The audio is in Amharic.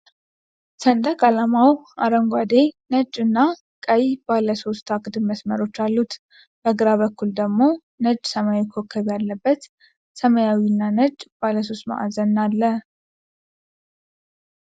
ሰንደቅ ዓላማው አረንጓዴ፣ ነጭ እና ቀይ ባለ ሶስት አግድም መስመሮች አሉት። በግራ በኩል ደግሞ ነጭ ኮከብ ያለበት ሰማያዊ እና ነጭ ባለሶስት ማዕዘን አለ።